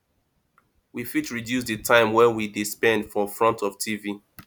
we fit reduce di time wey we de spend for front of tv